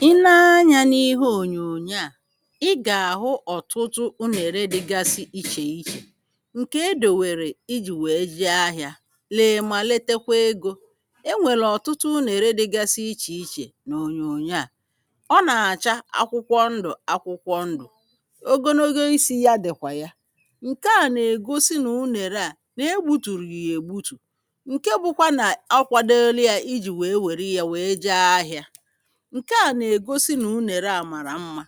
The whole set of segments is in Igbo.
i nee anyȧ n’ihe ònyònyo à i gà-àhụ ọ̀tụtụ unèrè dịgasi ichè ichè ǹkè edòwèrè ijì wèe je ahị̇ȧ le mà letekwe egȯ enwèlè ọ̀tụtụ unèrè dịgasi ichè ichè n’ònyòyo à ọ nà-àcha akwụkwọ ndụ̀ akwụkwọ ndụ̀ ogologo isi̇ ya dị̀kwà ya ǹkè à nà-ègosi nà unèrè à nà-egbutùrù yà ègbutù ǹkè bụkwa nà akwadeli à ijì wèe wère ya wèe je ahịȧ ǹke à nà-ègosi nà unèrè à màrà mmȧ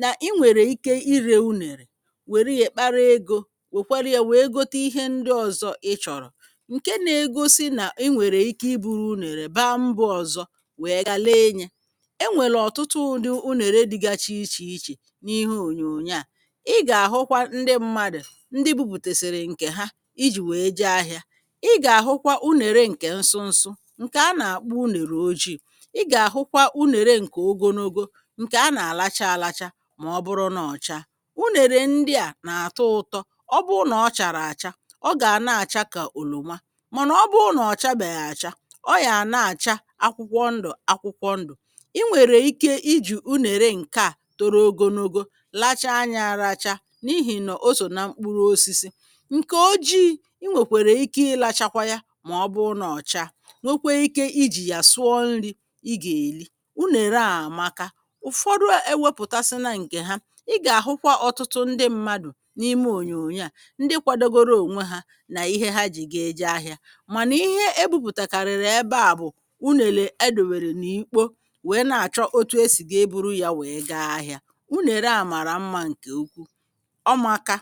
nà i nwèrè ike irė unèrè wèrè ya kpara egȯ wèkwere ya wèe gote ihe ndị ọzọ ị chọ̀rọ̀ ǹke na-egosi nà i nwèrè ike ibu̇ru unèrè bàmbȧ ọzọ wèe gà le enyè enwèlè ọ̀tụtụ ụ̀dị unèrè dịgachi ichè ichè n’ihe ònyònyò à ị gà-àhụkwa ndị mmadụ̀ ndị bupùtèsìrì ǹkè ha ijì wèe je ahịȧ ị gà-àhụkwa unère ǹkè nsụnsụ ǹkè a nà-àkpọ unèrè ojiì ǹkè anà-àlacha alacha mà ọ bụrụ na ọcha unèrè ndị à nà-àtụ ụtọ ọ bụ nà ọ chàrà àcha ọ gà na-àcha kà ònòwa mànà ọ bụ nà ọ̀chabèghị̀ àcha ọ yà na-àcha akwụkwọ ndụ̀ akwụkwọ ndụ̀ ị nwèrè ike ijì unère ǹkè a toro ogonogo lacha nya aracha n’ihì nọ o sò na mkpụrụ osisi ǹkè ojii inwèkwèrè ike ịlȧchakwa ya mà ọ bụ nà ọcha nwekwe ike ijì yà sụọ nri ị gà-èli ụ̀fọdụ ewėpụ̀tasịna ǹkè ha ị gà-àhụkwa ọ̀tụtụ ndị mmadụ̀ n’ime ònyònyo à ndị kwadogoro ònwe hȧ nà ihe ha ji ga-eje ahị̇ȧ mànà ihe ebupùtàkàrị̀rị̀ ebe à bụ̀ unèlè e dòwèrè n’ikpȯ wèe na-àchọ otu esì ga-eburu yȧ wèe ga ahị̇ȧ unère a màrà mmȧ ǹkè ukwu ọ maka